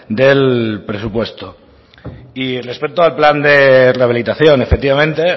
del presupuesto y respecto al plan de rehabilitación efectivamente